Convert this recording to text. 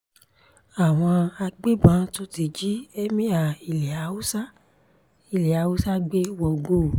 àwọn agbébọn ti tún jí ẹ́míà ilẹ̀ haúsá ilẹ̀ haúsá gbé wọgbó o